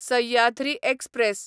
Sahyadri express